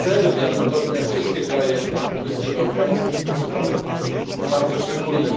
Serbia, podobnie jak wszystkie kraje na Półwyspie Bałkańskim, to przypadek bardzo szczególny.